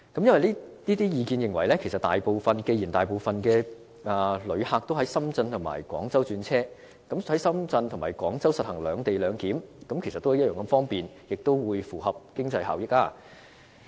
有意見認為，既然大部分旅客都要在深圳或廣州轉車，那麼在深圳或廣州實行"兩地兩檢"其實也同樣方便，也符合經濟效益。